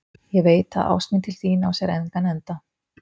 Ég veit, að ást mín til þín á sér engan enda.